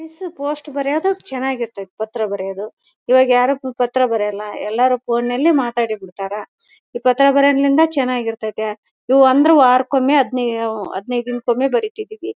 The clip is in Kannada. ಪೋಸ್ಟ್ ಬರೆಯೋದು ಚೆನ್ನಾಗಿ ಇರ್ತಾತ್ತಿ ಪತ್ರ ಬರೆಯೋದು ಇವಾಗ ಯಾರು ಪತ್ರ ಬರೆಯೋಲ್ಲ ಎಲ್ಲರು ಫೋನ್ ನಲ್ಲಿ ಮಾತಾಡಿ ಬಿಡತ್ತಾರ ಈ ಪಾತ್ರ ಬರೆಯೋದಾಗ್ಲಿಂದ ಚೆನ್ನಾಗಿ ಇರ್ತಾತ್ತಿ ಇವು ಅಂದ್ರೆ ವಾರಕ್ಕೆ ಒಮ್ಮೆ ಹದಿನೈದು ಹದಿನೈದು ದಿನ ಕೊಮ್ಮೆ ಬರಿತಿದ್ವಿ.